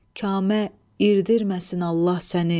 Kamə irdirməsin Allah səni.